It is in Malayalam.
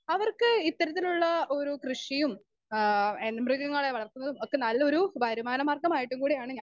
സ്പീക്കർ 2 അവർക്ക് ഇത്തരത്തിലുള്ള ഒരു കൃഷിയും ആഹ് എന്ന മൃഗങ്ങളെ വളർത്തുന്നതും ഒക്കെ നല്ലൊരു വരുമാനമാർഗ്ഗമായിട്ടും കൂടി ആണ് ഞാൻ.